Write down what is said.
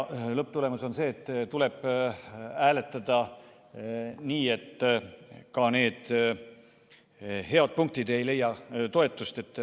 Lõpptagajärg on see, et tuleb hääletada nii, et ka need head punktid ei leia toetust.